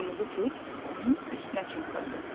Qırmızı Turp onun üstünə çimxırdı.